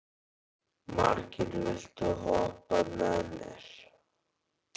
Margeir, viltu hoppa með mér?